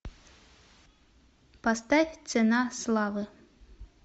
поставь цена славы